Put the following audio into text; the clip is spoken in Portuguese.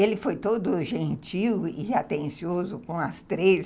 Ele foi todo gentil e atencioso com as três.